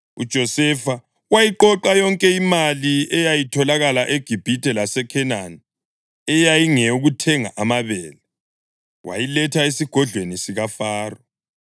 UJosefa wayiqoqa yonke imali eyayitholakala eGibhithe laseKhenani eyayingeyokuthenga amabele, wayiletha esigodlweni sikaFaro.